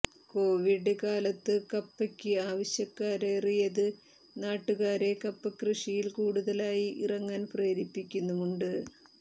Covid കാലത്തു കപ്പയ്ക്ക് ആവശ്യക്കാരേറിയത് നാട്ടുകാരെ കപ്പകൃഷിയിൽ കൂടുതലായി ഇറങ്ങാൻ പ്രേരിപ്പിക്കുന്നുമുണ്ട്